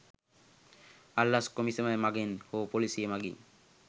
අල්ලස් කොමිසම මගින් හෝ පොලීසිය මගින්